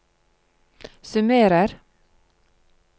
summerer